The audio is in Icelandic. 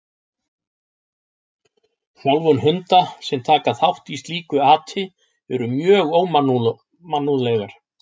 Þjálfun hunda sem taka þátt í slíku ati eru mjög ómannúðlegar.